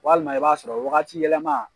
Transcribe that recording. Walima i b'a sɔrɔ wagati yɛlɛma